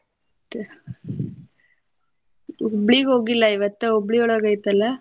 ಮತ್ತ ಹುಬ್ಳಿಗ ಹೋಗಿಲ್ಲಾ ಇವತ್ತ ಹುಬ್ಳಿಯೊಳಗ ಐತಲ್ಲ?